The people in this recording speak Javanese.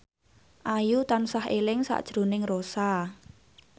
Ayu tansah eling sakjroning Rossa